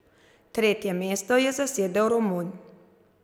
Tretje mesto je zasedel Romun .